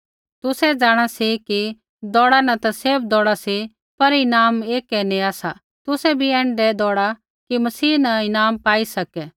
तुसै जाँणा सी कि दौउड़ा न ता सैभ दौउड़ा सी पर ईनाम एकै ही नेया सा तुसै भी ऐण्ढै दौऊड़ा कि मसीह न ईनाम पाई सकै